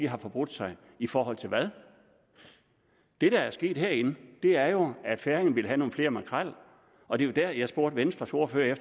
har forbrudt sig i forhold til hvad det der er sket herinde er jo at færingerne vil have nogle flere makrel og det var der jeg spurgte venstres ordfører